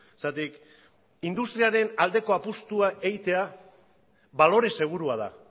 zergatik industriaren aldeko apustua egitea balore segurua da